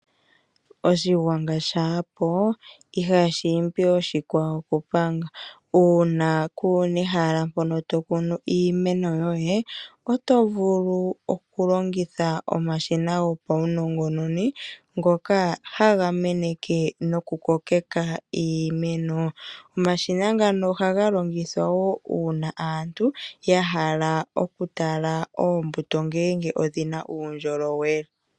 Oshigwanga shaa po ihashi imbi oshikwawo okupanga uuna kuna ehala mpono tokunu iimeno yoye oto vulu okulongitha omashina gopaunongononi ngoka haga meneke nokukokeka iimeno. Omashina ngano ohaga longithwa wo uuna aantu ta hala okutala ngele oombuto odhi na uundjolowele.